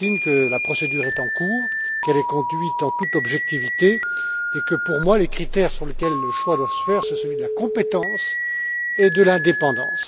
M. Martin, que la procédure est en cours, qu'elle est conduite en toute objectivité, et que, pour moi, les critères sur lesquels le choix doit se faire, sont ceux de la compétence et de l'indépendance.